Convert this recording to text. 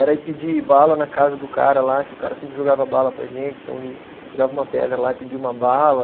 Era ir pedir bala na casa do cara lá, que o cara sempre jogava bala para a gente, então a gente jogava uma pedra lá e pedia uma bala.